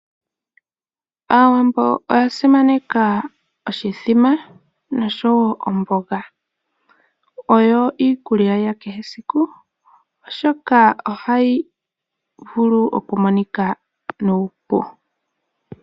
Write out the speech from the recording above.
Aawambo oyasimaneka oshimbombo osho wo omboga, oyo iikulya yakehe siku oshoka ohayi vulu okumonika nuupu.